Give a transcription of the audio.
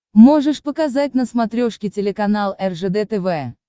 можешь показать на смотрешке телеканал ржд тв